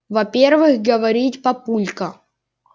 во-первых говорить папулька